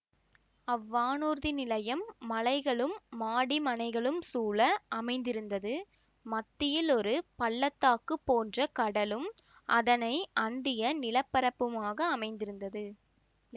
அவ்வானூர்தி நிலையம் மலைகளும் மாடிமனைகளும் சூழ அமைந்திருந்தது மத்தியில் ஒரு பல்லத்தாக்கு போன்ற கடலும் அதனை அண்டிய நிலப்பரப்புமாக அமைந்திருந்தது